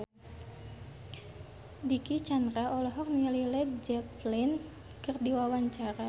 Dicky Chandra olohok ningali Led Zeppelin keur diwawancara